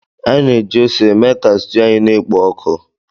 Anyị na-eji ose mee ka stuu anyị na-ekpo oku.